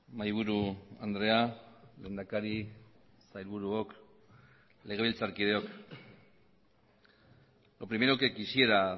mahaiburu andrea lehendakari sailburuok legebiltzarkideok lo primero que quisiera